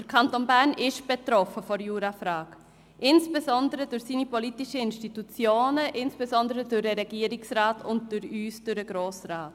Der Kanton Bern ist von dieser Frage betroffen, er ist es insbesondere durch seine politischen Institutionen, vor allem durch den Regierungsrat und durch uns, den Grossen Rat.